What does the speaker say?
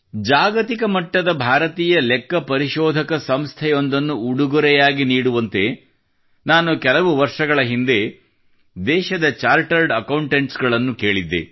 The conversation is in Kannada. ನಾನು ಕೆಲವು ವರ್ಷಗಳ ಹಿಂದೆ ದೇಶದ ಚಾರ್ಟೆರ್ಡ್ ಅಕೌಂಟೆಂಟ್ ಗಳಿಂದ ಜಾಗತಿಕ ಮಟ್ಟದ ಭಾರತೀಯ ಲೆಕ್ಕ ಪರಿಶೋಧಕ ಸಂಸ್ಥೆಯ ಉಡುಗೊರೆಗಾಗಿ ಕೇಳಿದ್ದೆ